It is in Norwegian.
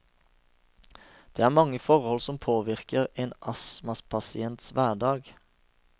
Det er mange forhold som påvirker en astmapasients hverdag.